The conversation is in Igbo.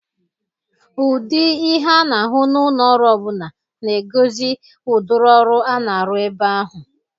Ụdị ihe a na-ahụ n'ụlọ ọrụ ọ bụla na-egozi udịrị ọrụ a na-arụ ebe ahụ.